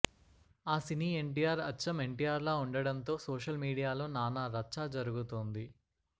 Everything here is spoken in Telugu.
ఆ సినీ ఎన్టీఆర్ అచ్చం ఎన్టీఆర్లా ఉండడంతో సోషల్ మీడియాలో నానా రచ్చా జరుగుతోంది